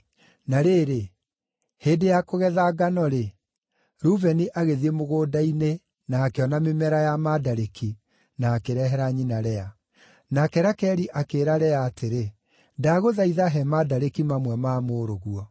Na rĩrĩ, hĩndĩ ya kũgetha ngano-rĩ, Rubeni agĩthiĩ mũgũnda-inĩ na akĩona mĩmera ya mandarĩki, na akĩrehera nyina Lea. Nake Rakeli akĩĩra Lea atĩrĩ, “Ndagũthaitha he mandarĩki mamwe ma mũrũguo.”